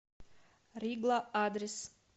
ригла адрес